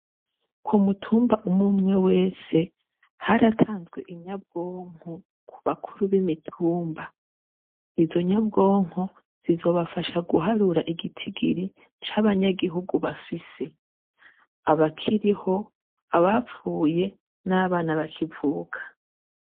Ku mutumba umumwe wese haratanzwe inyabwonko ku bakuru b'imitumba izo nyabwonko zizobafasha guharura igitigiri c'abanyagihugu bafise abakiriho abapfuye n'abana bakivuka.